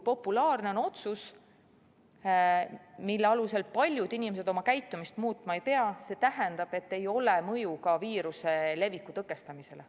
Populaarsel otsusel, mille alusel paljud inimesed oma käitumist muutma ei pea, ei ole mõju ka viiruse leviku tõkestamisele.